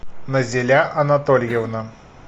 назиля анатольевна